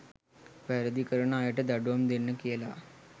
වැරදි කරන අයට දඩුවම් දෙන්න කියලා.